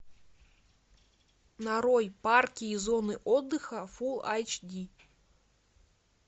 нарой парки и зоны отдыха фул айч ди